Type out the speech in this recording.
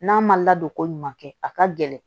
N'a ma ladon ko ɲuman kɛ a ka gɛlɛn